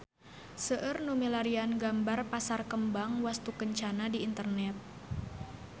Seueur nu milarian gambar Pasar Kembang Wastukencana di internet